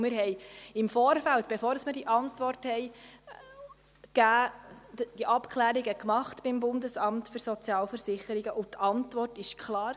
Wir haben im Vorfeld, bevor wir diese Antwort gaben, Abklärungen beim BSV getroffen, und die Antwort war klar.